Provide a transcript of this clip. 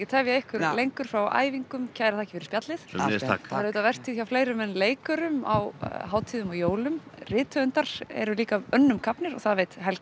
tefja ykkur lengur frá æfingum kærar þakkir fyrir spjallið sömuleiðis takk það er auðvitað vertíð hjá fleirum en leikurum á hátíðum og jólum rithöfundar eru líka önnum kafnir og það veit Helga